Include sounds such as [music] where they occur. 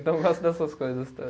Então eu gosto dessas coisas [unintelligible]